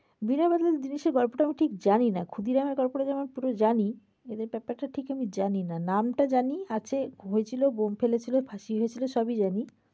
বিনয় বাদল দীনেশ এর গল্পটা ঠিক জানি না। ক্ষুদিরামের গল্পটা যেমন পুরো জানি এদের ব্যাপারটা ঠিক জানিনা। নাম টা জানি আর সে হয়েছিল বোম্ব ফেলেছিল ফাসি হয়েছিল সবই জানি।